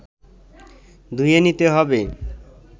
ধুয়ে নিতে হবে